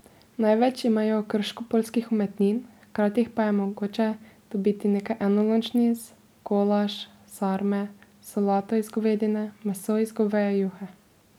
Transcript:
Največ imajo krškopoljskih umetnin, hkrati pa je mogoče dobiti nekaj enolončnic, golaž, sarme, solato iz govedine, meso iz goveje juhe ...